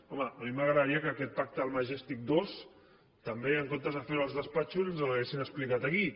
home a mi m’agradaria que aquest pacte del majestic dos també en comptes de fer lo als despatxos ens l’haguessin explicat aquí